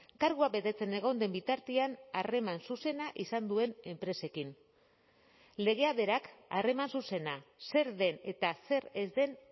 kargua betetzen egon den bitartean harreman zuzena izan duen enpresekin legea berak harreman zuzena zer den eta zer ez den